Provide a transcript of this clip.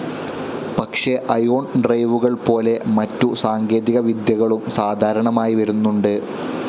പക്ഷെ അയോൺ ഡ്രൈവുകൾ പോലെ മറ്റു സാങ്കേതികവിദ്യകളും സാധാരണമായി വരുന്നുണ്ട്.